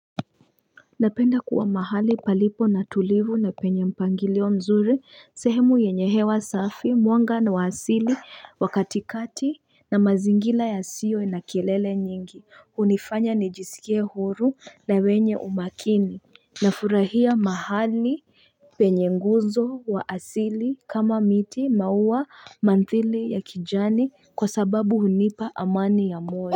Napenda kuwa mahali palipo na tulivu na penye mpangilio mzuri sehemu yenye hewa safi mwanga niwa asili wakatikati na mazingira yasiyo na kilele nyingi unifanya nijisikie hofu na wenye umakini na furahia mahali penye nguzo wa asili kama miti maua manthili ya kijani kwa sababu hunipa amani ya moyo.